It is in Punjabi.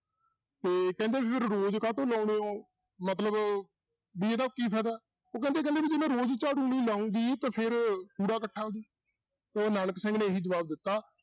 ਤੇ ਕਹਿੰਦੇ ਰੋਜ਼ ਕਾਹਤੋਂ ਲਾਉਂਦੇ ਹੋ, ਮਤਲਬ ਵੀ ਇਹਦਾ ਕੀ ਫ਼ਾਇਦਾ ਉਹ ਕਹਿਦੀ ਕਹਿੰਦੀ ਵੀ ਜੇ ਮੈਂ ਰੋਜ਼ ਝਾੜੂ ਨਹੀਂ ਲਾਉਂਗੀ ਤਾਂ ਫਿਰ ਕੂੜਾ ਇਕੱਠਾ ਹੋ ਜਾਉ, ਤੇ ਨਾਨਕ ਸਿੰਘ ਨੇ ਇਹੀ ਜਵਾਬ ਦਿੱਤਾ